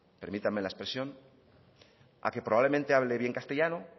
permítanme la expresión a que probablemente hable bien castellano